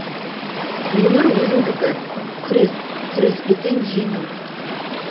өмір өзіңдікі күрес күреспесең жеңіл